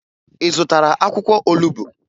Ị zụtara akwụkwọ olubu?